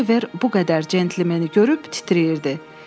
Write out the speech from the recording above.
Oliver bu qədər cəntlmeni görüb titrəyirdi.